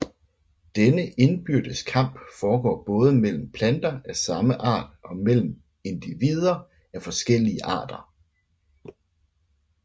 Denne indbyrdes kamp foregår både mellem planter af samme art og mellem individer af forskellige arter